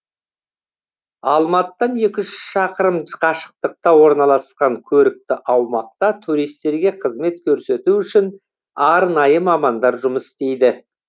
алматыдан екі жүз шақырым қашықтықта орналасқан көрікті аумақта туристерге қызмет көрсету үшін арнайы мамандар жұмыс істейді